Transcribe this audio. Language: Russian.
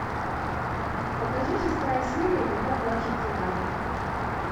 покажи шестая серия когда плачут цикады